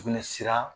Sugunɛsira